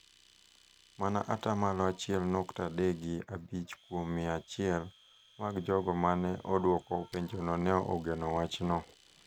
mana ata malo achiel nyukta adek gi abich kuom mia achiel mag jogo ma ne odwoko penjono ne ogeno wachno.